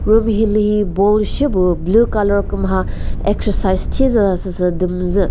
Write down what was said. room hilühi ball shepüh blue colour kümha exercise shi züza süsü dü müzü.